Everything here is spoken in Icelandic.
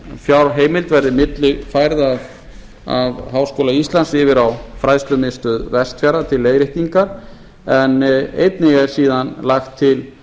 fjárheimild verði millifærð af háskóla íslands yfir á fræðslumiðstöð vestfjarða til leiðréttingar en einnig er síðan lagt til